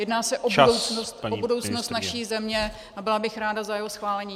Jedná se o budoucnost naší země a byla bych ráda za jeho schválení.